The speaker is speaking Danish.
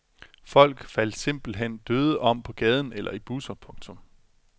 Folk faldt simpelt hen døde om på gaden eller i busser. punktum